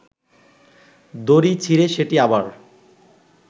দড়ি ছিড়ে সেটি আবার